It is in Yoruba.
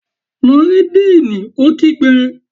Lọ rí díìnì! Ó kígbe.